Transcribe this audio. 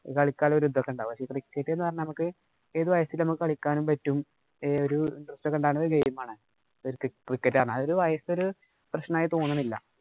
കളിക്കാനൊക്കെ ഒരു ഇത് ഉണ്ടാകും. Cricket എന്ന് പറഞ്ഞാല്‍ നമുക്ക് ഏതു വയസ്സിലും കളിക്കാനും പറ്റും. ഏ ഒര interest ഉണ്ടാകുന്ന ഒരു game ആണ് cricket വയസ് ഒരു പ്രശ്നമായി തോന്നണില്ല.